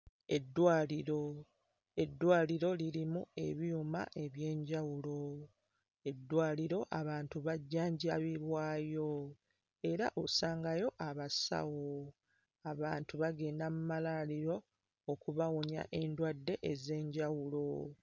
Eddwaliro; eddwaliro lirimu ebyuma eby'enjawulo, eddwaliro abantu bajjanjabibwayo era osangayo abasawo. Abantu bagenda mu malwaliro okubawonya endwadde ez'enjawulo.